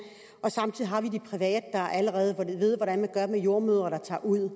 og samtidig har vi de private der allerede ved hvordan man gør med jordemødre der tager ud og